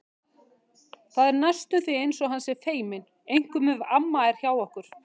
Það er næstum því eins og hann sé feiminn, einkum ef amma er hjá okkur.